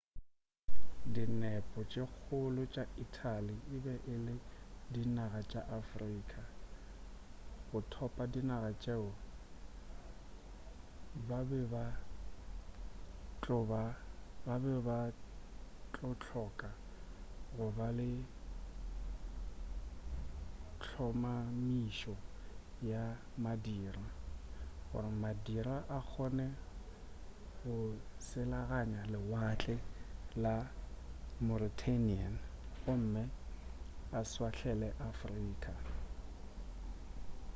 dinepo tše kgolo tša italy e be e le dinaga tša afrika go thopa dinaga tšeo ba be ba tlo hloka go ba le hlomamišo ya madira gore madira a kgone go selaganya lewatle la meuterranean gomme a šwahlele afrika